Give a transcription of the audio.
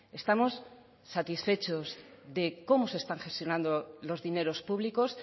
estamos satisfechos de cómo se están gestionando los dineros públicos